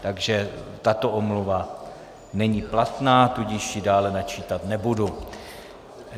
Takže tato omluva není platná, tudíž ji dále načítat nebudu.